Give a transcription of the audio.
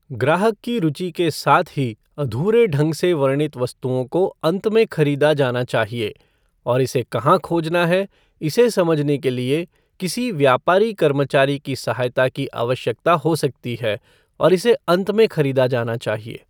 ग्राहक की रुचि के साथ ही अधूरे ढंग से वर्णित वस्तुओं को अंत में खरीदा जाना चाहिए, और इसे कहां खोजना है, इसे समझने के लिए किसी व्यापारी कर्मचारी की सहायता की आवश्यकता हो सकती है और इसे अंत में खरीदा जाना चाहिए।